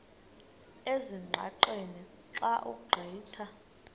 ezingqaqeni xa ugqitha